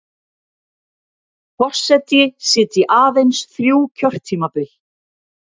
Forseti sitji aðeins þrjú kjörtímabil